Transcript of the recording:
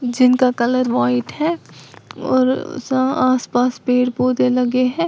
जिनका colour white है और सा आसपास पेड़ पौधे लगे हैं।